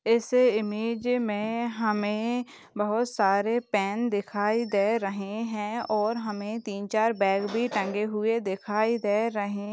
इस इमेज में हमें बहुत सारे पैन दिखाई दे रहे हैं और हमें तीन चार बैग भी टगे हुए दिखाई दे रहे--